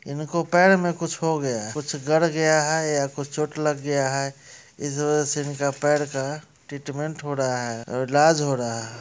इनको पैर में कुछ हो गया हैं कुछ गढ़ गया हैं या कुछ चोट लग गया हैं इस वजह से इन का पैर का ट्रीट्मन्ट हो रहा हैं इलाज हो रहा हैं।